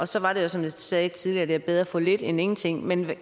så var det som jeg sagde tidligere at det er bedre at få lidt end ingenting men